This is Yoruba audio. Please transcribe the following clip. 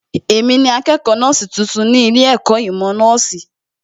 Èmi ni akẹ́kọ̀ọ́ nọ́ọ̀sì tuntun ní ilé ẹ̀kọ́ ìmọ̀ nọ́ọ̀sì